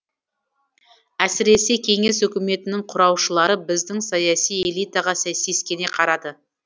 әсіресе кеңес үкіметінің құраушылары біздің саяси элитаға сескене қарады